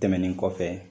Tɛmɛnen kɔfɛ